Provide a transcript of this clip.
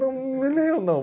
Não, não me leiam, não.